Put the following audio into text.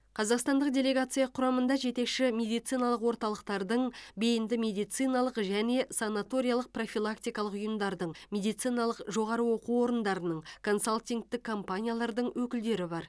қазақстандық делегация құрамында жетекші медициналық орталықтардың бейінді медициналық және санаториялық профилактикалық ұйымдардың медициналық жоғары оқу орындарының консалтингтік компаниялардың өкілдері бар